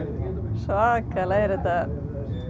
svakalega er þetta